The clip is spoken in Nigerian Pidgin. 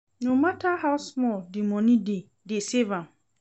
No matter how small the money dey, dey save am